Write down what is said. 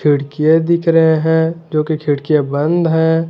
खिड़कियां दिख रहे हैं जोकि खिड़कियां बंद है।